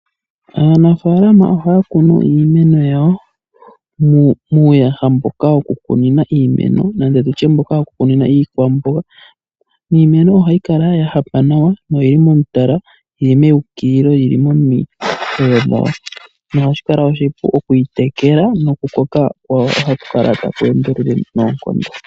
Aanafalama ohaya kunu wo iimeno yawo muuyaha mboka woku kunina iimeno nenge tutye iikwamboga ,iimeno ohayi kala ya hapa nawa yu uvite ombili yili momikweyo dhawo nohashi kala oshipu okuyi tekela no kukukoka kwawo ogaku kala taku endelele noonkondo.